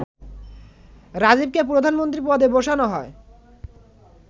রাজীবকে প্রধানমন্ত্রী পদে বসানো হয়